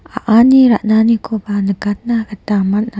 a·ani ran·anikoba nikatna gita man·a.